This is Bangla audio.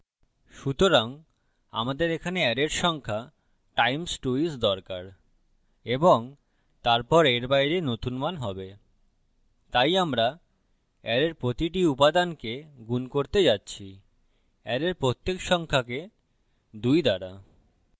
সুতরাং আমাদের এখানে অ্যারের সংখ্যা times 2 is দরকার এবং তারপর এর বাইরে নতুন মান হবে তাই আমরা অ্যারের প্রতিটি উপাদানকে গুন করতে যাচ্ছিঅ্যারের প্রত্যেক সংখ্যাকে 2 দ্বারা